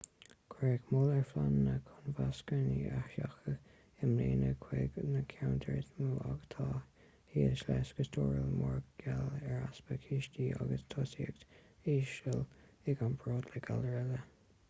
cuireadh moill ar phleananna chun vacsaíní a sheachadadh i mbliana chuig na ceantair is mó atá thíos leis go stairiúil mar gheall ar easpa cistí agus tosaíocht íseal i gcomparáid le galair eile